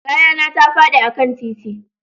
Kaya na ta fadi a kan titi